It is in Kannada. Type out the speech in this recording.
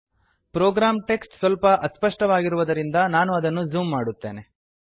ಪ್ರೋಗ್ರಾಂ ಟೆಕ್ಸ್ಟ್ ಸ್ವಲ್ಪ ಅಸ್ಪಷ್ಟವಾಗಿರುವುದರಿಂದ ನಾನು ಅದನ್ನು ಝೂಮ್ ಮಾಡುತ್ತೇನೆ